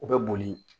U bɛ boli